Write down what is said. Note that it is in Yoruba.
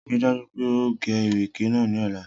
Rii daju pe o ge ireke naa ni ọla.